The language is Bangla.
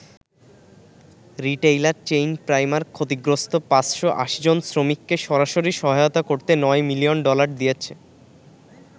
রিটেইলার চেইন প্রাইমার্ক ক্ষতিগ্রস্ত ৫৮০ জন শ্রমিককে সরাসরি সহায়তা করতে ৯ মিলিয়ন ডলার দিয়েছে।